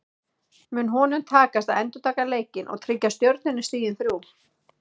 Mun honum takast að endurtaka leikinn og tryggja Stjörnunni stigin þrjú?